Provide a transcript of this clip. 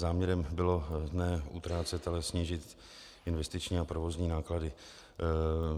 Záměrem bylo ne utrácet, ale snížit investiční a provozní náklady.